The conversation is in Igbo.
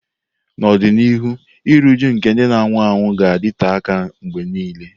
N'ọdịnihu, iru újú nke ndị na-anwụ anwụ ga-adịte aka mgbe nile.